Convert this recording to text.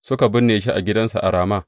Suka binne shi a gidansa a Rama.